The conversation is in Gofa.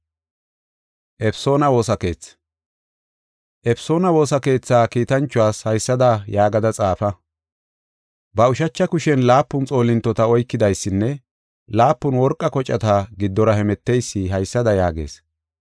“Efesoona woosa keetha kiitanchuwas haysada yaagada xaafa. Ba ushacha kushen laapun xoolintota oykidaysinne laapun worqa kocata giddora hemeteysi haysada yaagees: